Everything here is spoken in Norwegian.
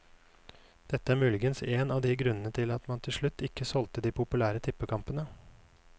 Dette er muligens en av grunnene til at man til slutt ikke solgte de populære tippekampene.